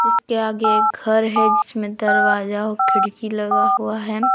इसके आगे एक घर है जिसमें दरवाजा खिड़की लगा हुआ है।